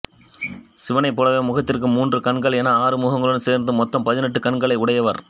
சிவனைப்போலவே முகத்திற்கு மூன்று கண்கள் என ஆறுமுகங்களுக்கும் சேர்த்து மொத்தம் பதினெட்டு கண்களை உடையவர்